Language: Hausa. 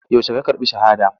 Yaushe ya karɓi shahada.